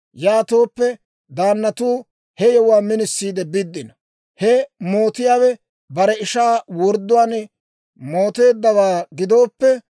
Yaatooppe daannatuu he yewuwaa minisiide biddino; he mootiyaawe bare ishaa wordduwaan mooteeddawaa gidooppe,